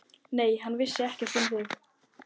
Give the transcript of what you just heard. Nei, hann vissi ekkert um þig.